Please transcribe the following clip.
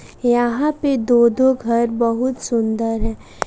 यहां पे दो दो घर बहुत सुंदर हैं।